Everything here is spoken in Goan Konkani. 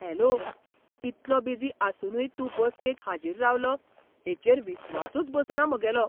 हॅलो! इतलो बिजी आसुनूय तूं बसकेक हाजीर रावलो हेचेर विस्वासूच बसना म्हागेलो!